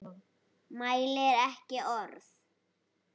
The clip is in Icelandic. Mælir ekki orð.